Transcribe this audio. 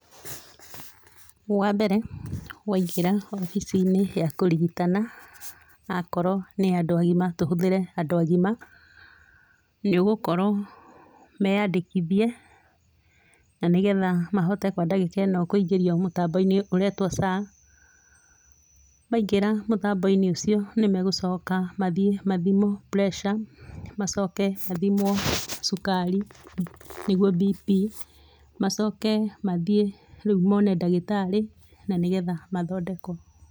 Wa mbere waingĩra obici-inĩ ya kũrigitana, akorwo nĩ andũ agima tũhũthĩre andũ agima, nĩ ũgũkorwo meyandĩkithie, na nĩgetha mahote kwa ndagĩka ĩno kũingĩrio mũtambo-inĩ ũretwo SHA, maingĩra mũtambo-inĩ ũcio nĩ magũcoka mathiĩ mathimwo pureca, macoke mathimwo cukari, nĩguo BP, macoke mathiĩ rĩu mone ndagĩtarĩ, na nĩgetha mathondekwo.